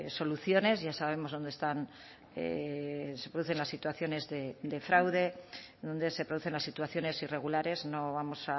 soluciones ya sabemos dónde están se producen las situaciones de fraude donde se producen las situaciones irregulares no vamos